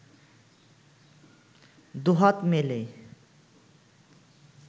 দুহাত মেলে